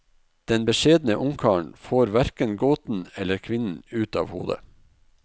Den beskjedne ungkaren får hverken gåten eller kvinnen ut av hodet.